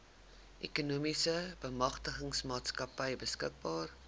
ekonomiese bemagtigingsmaatskappy beskikbaar